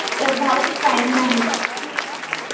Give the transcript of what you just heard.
प्रभाव कायम राहील.